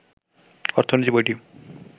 অর্থনীতি বইটি